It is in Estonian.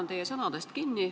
Ma haaran sõnasabast kinni.